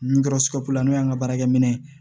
N kɔrɔ n'o y'an ka baarakɛminɛ ye